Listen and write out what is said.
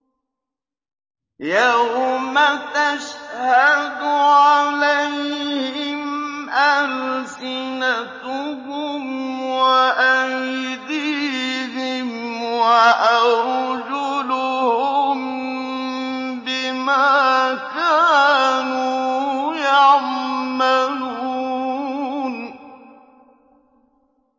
يَوْمَ تَشْهَدُ عَلَيْهِمْ أَلْسِنَتُهُمْ وَأَيْدِيهِمْ وَأَرْجُلُهُم بِمَا كَانُوا يَعْمَلُونَ